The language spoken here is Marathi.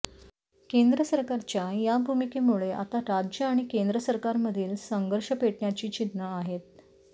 केंद्र सरकारच्या या भूमिकेमुळे आता राज्य आणि केंद्र सरकारमधील संघर्ष पेटण्याची चिन्ह आहेत